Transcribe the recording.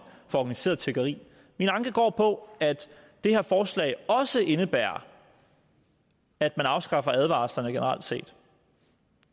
for organiseret tiggeri min anke går på at det her forslag også indebærer at man afskaffer advarslerne generelt set